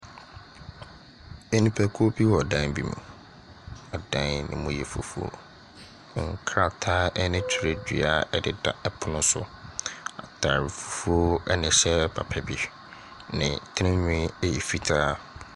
Nipakuo bi wɔ dan bi mu. Ɛdan no mu yɛ fufuo. Nkrataa ne twerɛdua deda ɛpono so. Atadeɛ fufuo na ɛhyɛ papa bi. Ne tirinwi yɛ fitaa.